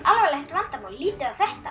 alvarlegt vandamál lítum á þetta